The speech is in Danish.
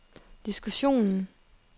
diskussionen